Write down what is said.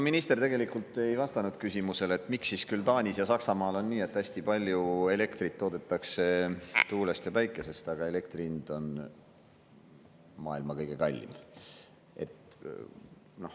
Minister tegelikult ei vastanud küsimusele, miks siis Taanis ja Saksamaal on nii, et hästi palju elektrit toodetakse tuulest ja päikesest, aga elektri hind on maailma kõige kallim.